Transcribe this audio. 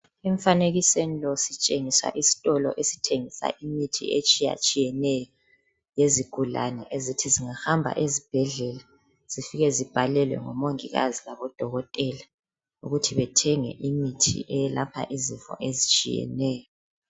Emfanekisweni lo sitshengiswa isitolo esithengisa imithi etshiyatshiyeneyo. Yezigulane ezithi zingahamba ezibhedlela, zifike zibhalelwe ngomongikazi labodokotela, ukuthi bethenge imithi eyelapha izifo ezitshiyeneyo.